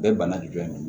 Bɛɛ bana jɔn de ye